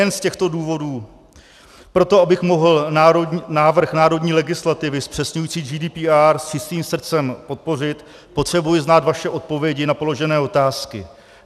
Nejen z těchto důvodů pro to, abych mohl návrh národní legislativy zpřesňující GDPR s čistým srdcem podpořit, potřebuji znát vaše odpovědi na položené otázky.